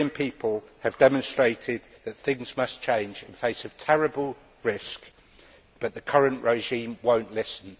The Syrian people have demonstrated that things must change and face a terrible risk, but the current regime will not listen.